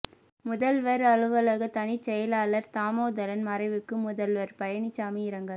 முதல்வர் அலுவலக தனிச் செயலாளர் தாமோதரன் மறைவுக்கு முதல்வர் பழனிசாமி இரங்கல்